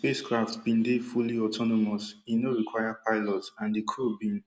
spacecraft been dey fully autonomous e no require pilots and di crew bin